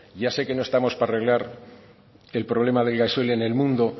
ya sé que no estamos para arreglar el problema del gasoil en el mundo